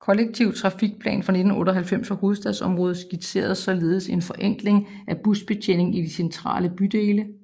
I Kollektiv Trafikplan 1998 for hovedstadsområdet skitseredes således en forenkling af busbetjeningen i de centrale bydele